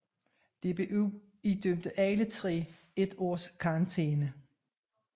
DBU idømte alle tre et års karantæne